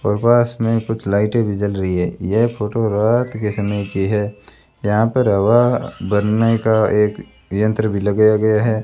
और बास में कुछ लाइटे भी जल रही है यह फोटो रात के समय की है यहां पर हवा भरने का एक यंत्र भी लगाया गया है।